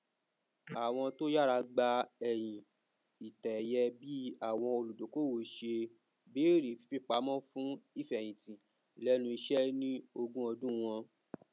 àwọn to yára gba ẹyin ìtẹẹyẹ bí àwọn olùdókòwò ṣe bẹrẹ fífipamọ fún ìfẹhìntì lẹnu iṣẹ ní ogún ọdún wọn